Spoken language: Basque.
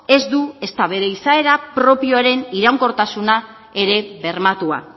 ez du ezta bere izaera propioaren iraunkortasuna ere bermatua